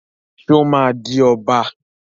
Só ma di Ọba?